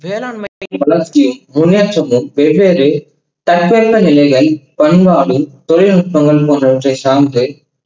வேளாண்மைக்கு வளர்ச்சியை முன்னேற்றங்கள் வெவ்வேறு தற்பெருமை நிலைகள், பண்பாடு தொழில்நுட்பங்கள் போன்றவற்றை சார்ந்து